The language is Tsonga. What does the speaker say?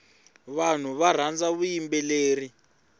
vanhu varhandza vuyimbeleri